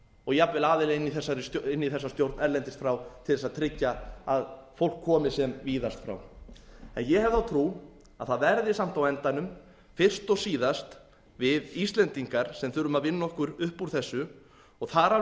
og jafnvel aðila inn í þessa stjórn erlendis frá til þess að tryggja að fólk komi sem víðast frá en ég hef þá trú að það verði samt á endanum fyrst og síðast við íslendingar sem þurfum að vinna okkur upp úr þessu og þar af